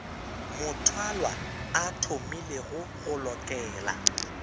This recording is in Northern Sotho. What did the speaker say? mothwalwa a thomilego go lokela